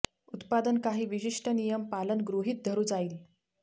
उत्पादन काही विशिष्ट नियम पालन गृहित धरू जाईल